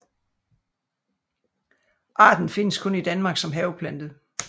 Arten findes kun i Danmark som haveplante